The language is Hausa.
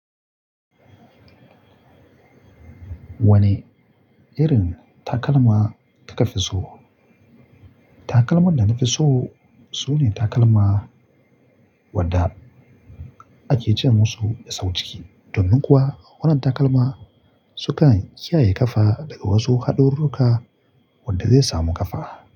Wane irin takalma kafi so? Takalman da nafi so sune takalma wadda ake ce musu sau ciki. Domin kuwa wannan takalma sukan kiyaye ƙafa daga wasu haɗarurruka wanda zai samu ƙafa.